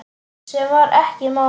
Sem var ekki málið.